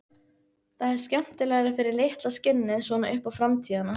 Það er skemmtilegra fyrir litla skinnið, svona upp á framtíðina.